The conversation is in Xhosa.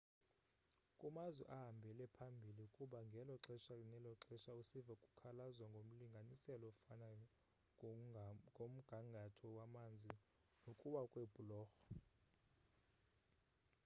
kumazwe ahambele phambili kuba ngelo xesha nelo xesha usiva kukhalazwa ngomlinganiselo ofanayo ngomgangatho wamanzi nokuwa kweebhulorho